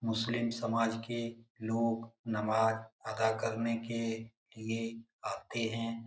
मुस्लिम समाज के लोग का नमाज अदा करने के लिए आते हैं।